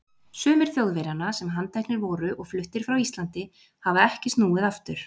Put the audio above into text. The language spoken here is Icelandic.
Sumir Þjóðverjanna, sem handteknir voru og fluttir frá Íslandi, hafa ekki snúið aftur.